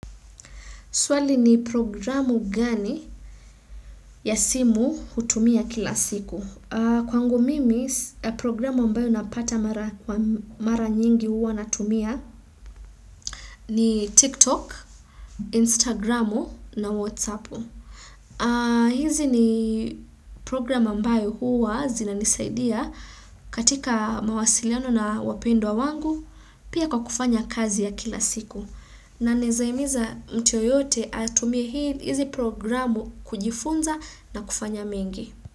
Swali ni programu gani ya simu hutumia kila siku? Kwangu mimi, programu ambayo napata mara nyingi huwa natumia ni TikTok, Instagramu na Whatsappu. Hizi ni programu ambayo huwa zinanisaidia katika mawasiliano na wapendwa wangu pia kwa kufanya kazi ya kila siku. Na naeza imiza mtu yeyote atumie hizi programu kujifunza na kufanya mengi.